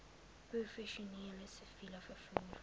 professioneel siviel vervoer